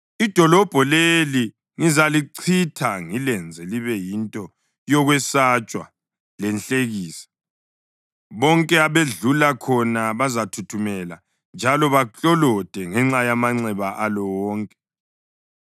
Idolobho leli ngizalichitha ngilenze libe yinto yokwesatshwa lenhlekisa; bonke abadlula khona bazathuthumela njalo baklolode ngenxa yamanxeba alo wonke.